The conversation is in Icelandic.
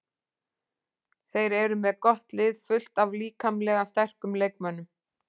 Þeir eru með gott lið, fullt af líkamlega sterkum leikmönnum.